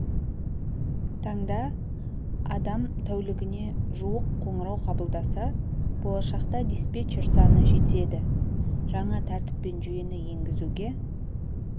таңда адам тәулігіне жуық қоңырау қабылдаса болашақта диспетчер саны жетеді жаңа тәртіп пен жүйені енгізуге